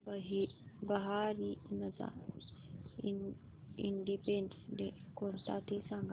बहारीनचा independence day कोणता ते सांगा